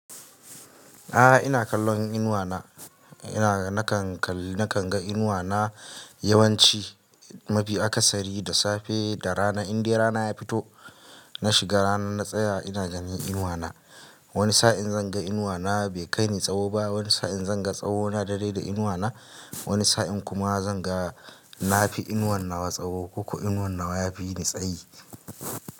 A'a ina kallon inuwa na, ina nakan kalli nakan ga inuwa na yawanci mafi akasari da safe da rana. In dai rana ya fito na shiga rana na tsaya ina ganin inuwa na. Wani sa'in zan ga inuwa na bai kai ni tsawo ba, wani sa'in zan ga tsawo na daidai da inuwa na, wani sa'in kuma zan ga na fi inuwan nawa tsawo ko ko inuwan nawa ya fi ni tsayi.